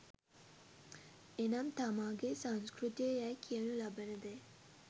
එනම් තමන්ගේ සංස්කෘතිය යැයි කියනු ලබන දේ